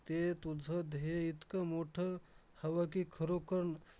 ते तुझं ध्येय इतकं मोठं हवं की, खरोखर